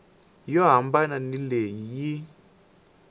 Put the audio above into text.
yo hambana ni leyi yi